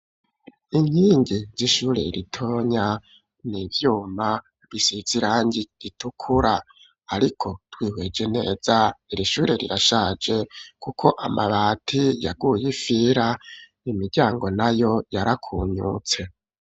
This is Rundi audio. Inkingi z'ishure ritonya n'ivyuma bisize irangi ritukura ariko twihweje neza iri shure rirashaje kuko amabati yaguye ifira nimiryango na yo yarakunyutse